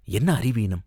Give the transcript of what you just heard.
என்ன அறிவீனம்